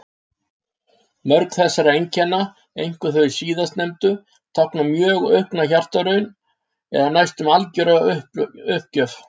Mörg þessara einkenna, einkum þau síðastnefndu, tákna mjög aukna hjartaraun eða næstum algjöra uppgjöf.